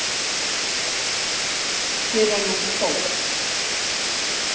Fyrr en hún fór.